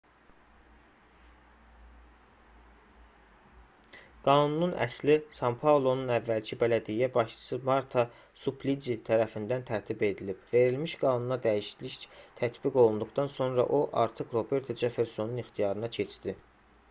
qanunun əsli san-paulonun əvvəlki bələdiyyə başçısı marta suplici tərəfindən tərtib edilib verilmiş qanuna dəyişiklik tətbiq olunduqdan sonra o artıq roberto ceffersonun ixtiyarına keçdi